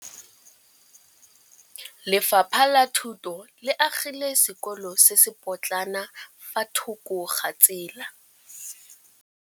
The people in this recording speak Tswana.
Lefapha la Thuto le agile sekôlô se se pôtlana fa thoko ga tsela.